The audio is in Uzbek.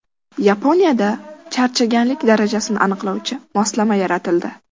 Yaponiyada charchaganlik darajasini aniqlovchi moslama yaratildi.